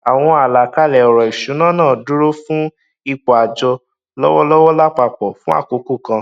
àwọn àlàkalẹ ọrọ ìṣúná náà dúró fún ipò àjọ lọwọlọwọ lápapọ fún àkókò kan